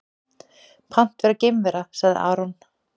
Pant vera geimvera, sagði Aron.